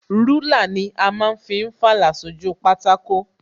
Rúlà ni a ma ń fi fàlà sójú pátákó